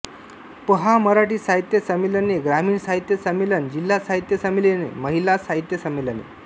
पहा मराठी साहित्य संमेलने ग्रामीण साहित्य संमेलन जिल्हा साहित्य संमेलने महिला साहित्य संमेलने